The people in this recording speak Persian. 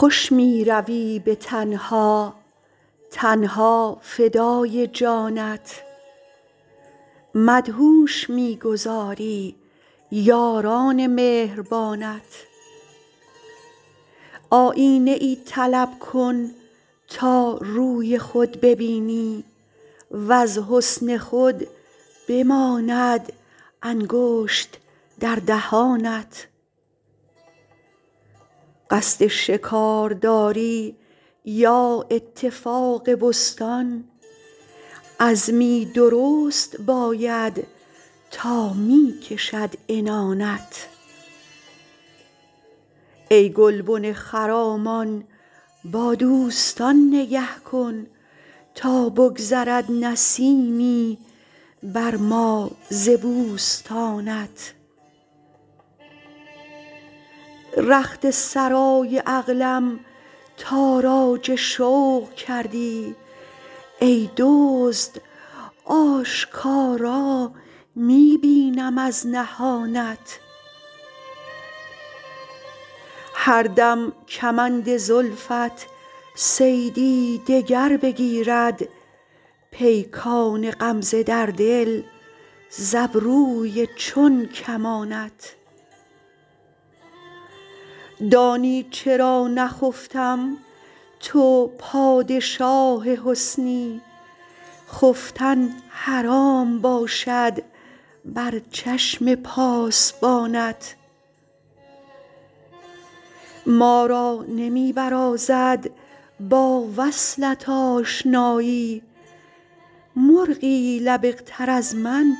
خوش می روی به تنها تن ها فدای جانت مدهوش می گذاری یاران مهربانت آیینه ای طلب کن تا روی خود ببینی وز حسن خود بماند انگشت در دهانت قصد شکار داری یا اتفاق بستان عزمی درست باید تا می کشد عنانت ای گلبن خرامان با دوستان نگه کن تا بگذرد نسیمی بر ما ز بوستانت رخت سرای عقلم تاراج شوق کردی ای دزد آشکارا می بینم از نهانت هر دم کمند زلفت صیدی دگر بگیرد پیکان غمزه در دل ز ابروی چون کمانت دانی چرا نخفتم تو پادشاه حسنی خفتن حرام باشد بر چشم پاسبانت ما را نمی برازد با وصلت آشنایی مرغی لبق تر از من